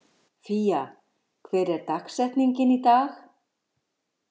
Fía, hver er dagsetningin í dag?